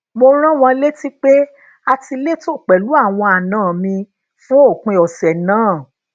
mo rán wọn létí pé a ti letò pèlú àwọn àna mi fún òpin òsè naa